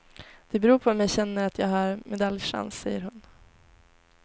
Det beror på om jag känner att jag har medaljchans, säger hon.